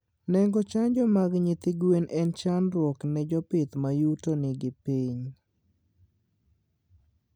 Nengo chanjo mag nyithi gwen en chandruok ne jopith mayutogi ni piny